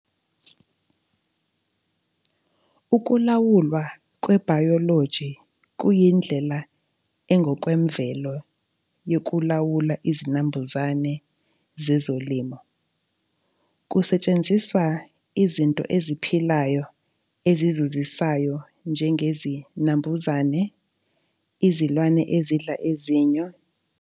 Ukulawulwa kwebhayoloji kuyindlela engokwemvelo yokulawula izinambuzane zezolimo. Kusetshenziswa izinto eziphilayo ezizuzisayo njengezinambuzane, izilwane ezidla ezinyo